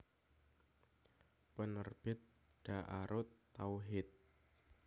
Penerbit Daarut Tauhid